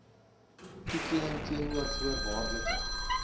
toekenning teenoor voorwaardelike